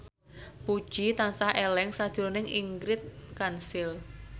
Puji tansah eling sakjroning Ingrid Kansil